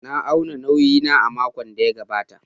Na auna nauyi na a makon da ya gabata.